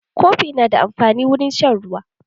Kofi na da amfani wurin shan ruwa.